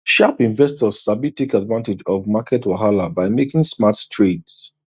sharp investors sabi take advantage of market wahala by making smart trades